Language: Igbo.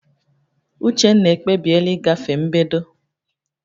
Uchenna ekpebiela ịgafe mbedo